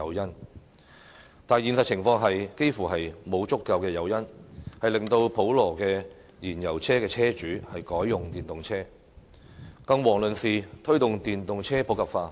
然而，現實情況幾乎沒有足夠誘因，令到普羅的燃油車車主改用電動車，更遑論推動電動車普及化。